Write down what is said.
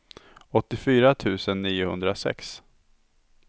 åttiofyra tusen niohundrasex